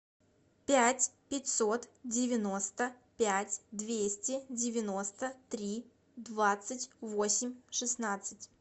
пять пятьсот девяносто пять двести девяносто три двадцать восемь шестнадцать